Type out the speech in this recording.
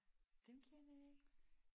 Dem kender jeg ikke